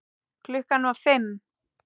Klukkan var fimm.